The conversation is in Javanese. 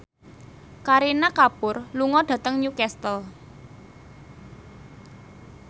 Kareena Kapoor lunga dhateng Newcastle